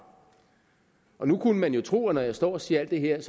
nu kunne man jo tro at når jeg står og siger alt det her